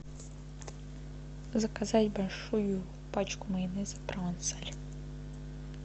заказать большую пачку майонеза провансаль